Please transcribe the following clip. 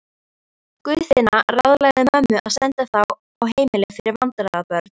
Guðfinna ráðlagði mömmu að senda þá á heimili fyrir vandræðabörn.